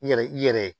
I yɛrɛ i yɛrɛ